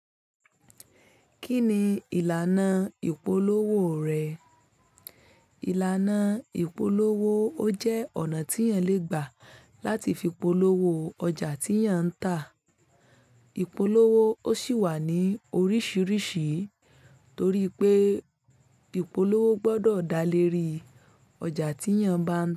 Kí ni ìlànà ìpolówó rẹ̀? Ìlànà ìpolówó ó jẹ́ ọ̀nà tí ìyàn le gbà láti fi polówó ọjà tí ìyàn ń tà. Ìpolówó ó sì wà ní oríṣiríṣi torí pé ìpolówó gbọdọ̀ dá lé rí ọjà tí ìyàn bá ń.